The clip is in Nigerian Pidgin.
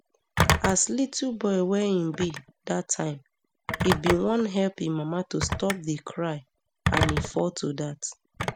as little boy wey im be dat time e bin wan help im mama to stop di cry and e fall to dat